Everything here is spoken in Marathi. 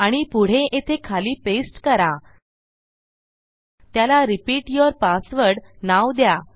आणि पुढे येथे खाली पेस्ट करा त्याला रिपीट यूर पासवर्ड नाव द्या